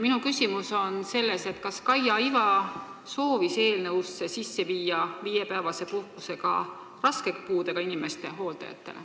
Minu küsimus on selles, kas Kaia Iva soovis eelnõusse sisse viia viiepäevase puhkuse ka raske puudega inimeste hooldajatele.